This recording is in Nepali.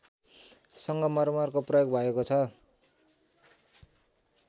सङ्गमर्मरको प्रयोग भएको छ